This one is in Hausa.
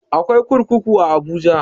Akwai kurkuku a abuja